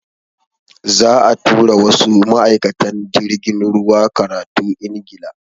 Za'a tura wasu ma'aikatan jirgin ruwa karatu Ingila.